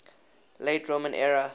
late roman era